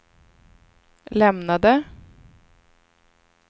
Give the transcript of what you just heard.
lämnade